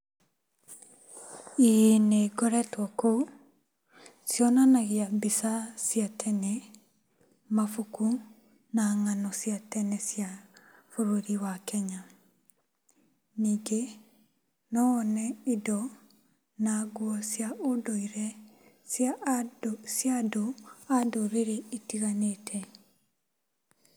Ĩĩ nĩngoretwo kũu, cionanagia mbica cia tene, mabaku na ng'ano cia tene cia bũrũri wa Kenya. Ningĩ, nowone indo na nguo cia ũndũire cia andũ a ndũrĩrĩ itiganĩte.